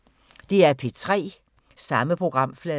DR P3